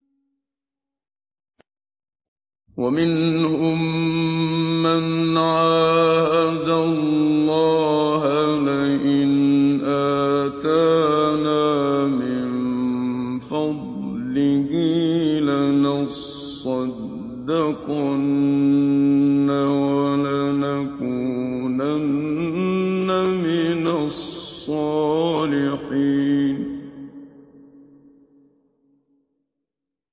۞ وَمِنْهُم مَّنْ عَاهَدَ اللَّهَ لَئِنْ آتَانَا مِن فَضْلِهِ لَنَصَّدَّقَنَّ وَلَنَكُونَنَّ مِنَ الصَّالِحِينَ